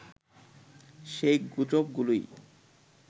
সেই গুজবগুলোই